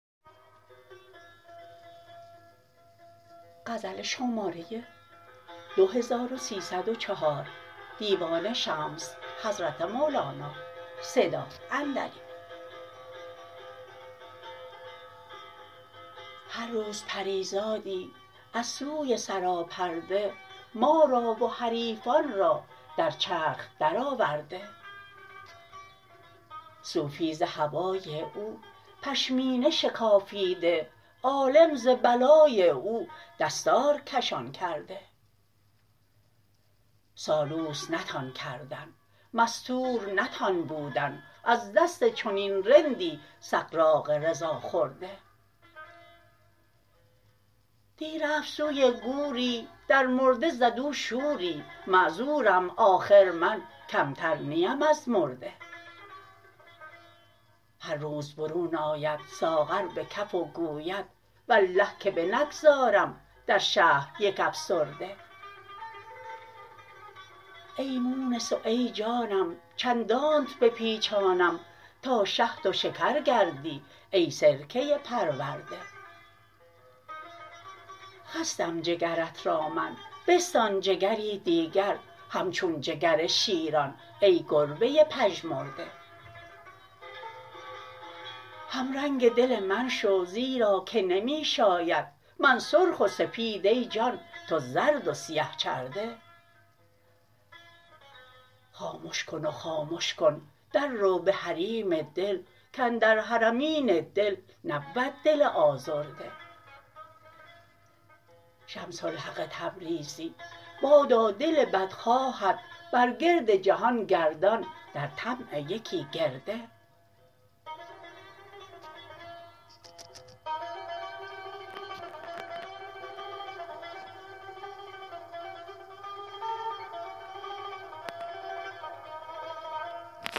هر روز پری زادی از سوی سراپرده ما را و حریفان را در چرخ درآورده صوفی ز هوای او پشمینه شکافیده عالم ز بلای او دستار کشان کرده سالوس نتان کردن مستور نتان بودن از دست چنین رندی سغراق رضا خورده دی رفت سوی گوری در مرده زد او شوری معذورم آخر من کمتر نیم از مرده هر روز برون آید ساغر به کف و گوید والله که بنگذارم در شهر یک افسرده ای مونس و ای جانم چندانت بپیچانم تا شهد و شکر گردی ای سرکه پرورده خستم جگرت را من بستان جگری دیگر همچون جگر شیران ای گربه پژمرده همرنگ دل من شو زیرا که نمی شاید من سرخ و سپید ای جان تو زرد و سیه چرده خامش کن و خامش کن دررو به حریم دل کاندر حرمین دل نبود دل آزرده شمس الحق تبریزی بادا دل بدخواهت بر گرد جهان گردان در طمع یکی گرده